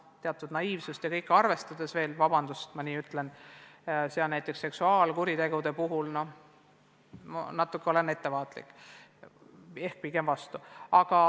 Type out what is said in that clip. Teatud naiivsust ja kõike muudki arvestades – vabandust, et ma nii ütlen –, näiteks seksuaalkuritegude puhul ma olen siiski ettevaatlik ehk pigem vastu.